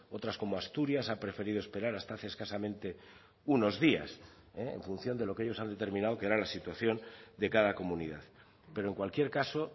otras como asturias ha preferido esperar hasta hace escasamente unos días en función de lo que ellos han determinado que era la situación de cada comunidad pero en cualquier caso